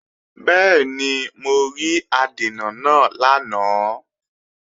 Bẹ́ẹ̀ni, mo rí adènà náà lánàá